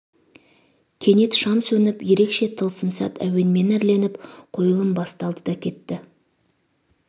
кенет шам сөніп ерекше тылсым сәт әуенмен әрленіп қойылым басталды да кетті